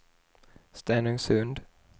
Stenungsund